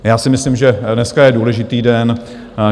Já si myslím, že dneska je důležitý den.